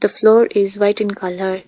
The floor is white in colour .